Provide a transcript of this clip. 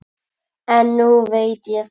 En núna veit ég það.